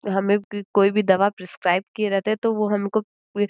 हमे कोई भी दवा प्रेस्क्राइब किए रहते तो हमको वे --